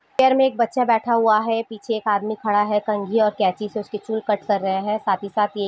chair में एक बच्चा बैठा हुआ है पीछे एक आदमी खड़ा है कन्घी और केची से उसकी चूल कट कर रहे हैं साथ ही साथ--